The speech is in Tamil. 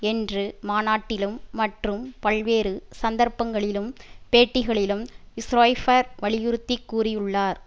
என்று மாநாட்டிலும் மற்றும் பல்வேறு சந்தர்ப்பங்களிலும் பேட்டிகளிலும் ஸ்ரொய்பர் வலியுறுத்தி கூறியுள்ளார்